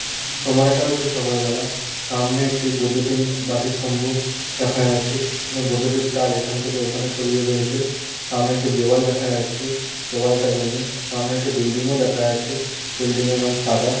সময়টা হচ্ছে সকালবেলা সামনে একটি বৈদ্যুতিন বাতিস্তম্ভ দেখা যাচ্ছে এখানে বৈদ্যুতিক তার এখান থেকে ওখানে ছড়িয়ে রয়েছে সামনে একটি দেওয়াল দেখা যাচ্ছে দেওয়ালটা রঙিন সামনে বিল্ডিং -ও দেখা আছে বিল্ডিং - এর রং সাদা।